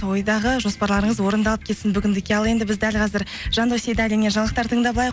ойдағы жоспарларыңыз орындалып кетсін бүгіндікке ал енді біз дәл қазір жандос сейдаллинмен жаңалықтар тыңдап алайық